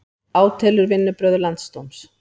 Átelur vinnubrögð landsdóms